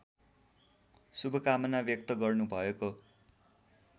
शुभकामना व्यक्त गर्नुभएको